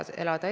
Aitäh!